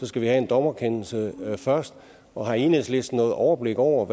skal vi have en dommerkendelse først og har enhedslisten noget overblik over